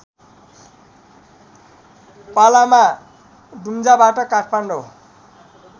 पालामा दुम्जाबाट काठमाडौँ